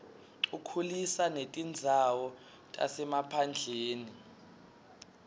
ukhulisa netindzawo tasemaphandleni